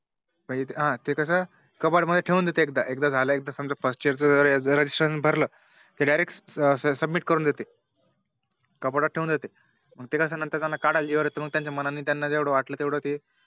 मग ते कस Cupboard मध्ये ठेवून देते एकदा एकदा झालं समझा First year registration भरलं कि Direct submit करून देते कपाटात थवेउन देते त्यानंतर त्याना काढायला जीवावर येते मग त्यांच्या मनाने त्याना जेवढं वाटलं तेवढं ते